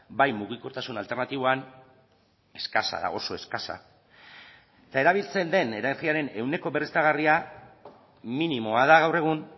bai mugikortasun alternatiboan eskasa da oso eskasa eta erabiltzen den energiaren ehuneko berriztagarria minimoa da gaur egun